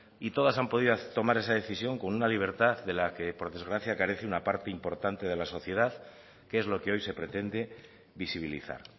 y todas han podido tomar esa decisión con una libertad de la que por desgracia carece una parte importante de la sociedad que es lo que hoy se pretende visibilizar